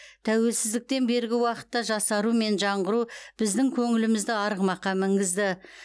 тәуелсіздіктен бергі уақытта жасару мен жаңғыру біздің көңілімізді арғымаққа мінгізді